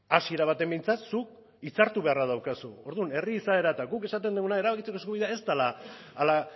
hasiera batean behintzat zuk hitzartu beharra daukazu orduan herri izaera eta guk esaten duguna erabakitzeko eskubidea ez dela hala